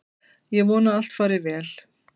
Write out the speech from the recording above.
Ég vona að allt fari vel.